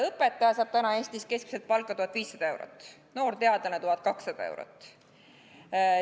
Õpetaja saab praegu Eestis palka keskmiselt 1500 eurot, noor teadlane 1200 eurot.